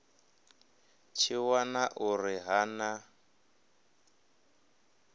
tshi wana uri ha na